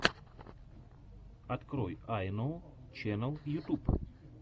открой айноу ченэл ютуб